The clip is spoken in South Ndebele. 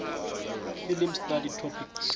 film study topics